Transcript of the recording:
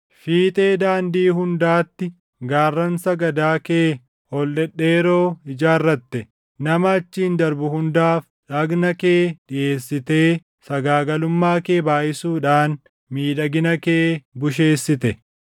Fiixee daandii hundaatti gaarran sagadaa kee ol dhedheeroo ijaarratte; nama achiin darbu hundaaf dhagna kee dhiʼeessitee sagaagalummaa kee baayʼisuudhaan miidhagina kee busheessite.